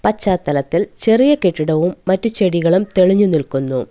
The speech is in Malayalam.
പച്ചാതലത്തിൽ ചെറിയ കെട്ടിടവും മറ്റ് ചെടികളും തെളിഞ്ഞ് നിൽക്കുന്നു.